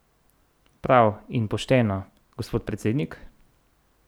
Prav in pošteno, gospod predsednik?